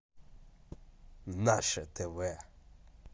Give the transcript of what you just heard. наше тв